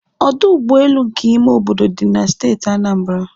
Ọdụ ụgbọelu nke ime obodo dị na Steeti Anambra